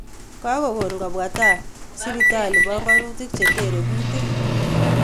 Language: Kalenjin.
kokokoon kobwa tai sibitaliit banganutiik chetere kuutik